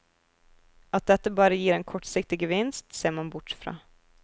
At dette bare gir en kortsiktig gevinst, ser man bort fra.